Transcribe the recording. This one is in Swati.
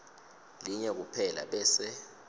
linye kuphela bese